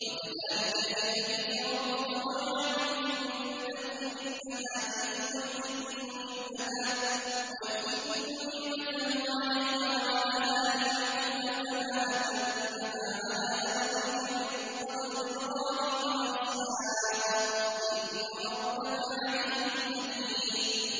وَكَذَٰلِكَ يَجْتَبِيكَ رَبُّكَ وَيُعَلِّمُكَ مِن تَأْوِيلِ الْأَحَادِيثِ وَيُتِمُّ نِعْمَتَهُ عَلَيْكَ وَعَلَىٰ آلِ يَعْقُوبَ كَمَا أَتَمَّهَا عَلَىٰ أَبَوَيْكَ مِن قَبْلُ إِبْرَاهِيمَ وَإِسْحَاقَ ۚ إِنَّ رَبَّكَ عَلِيمٌ حَكِيمٌ